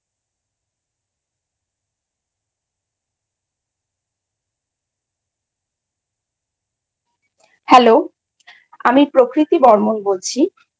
Hello আমি প্রকৃতি বর্মন বলছি।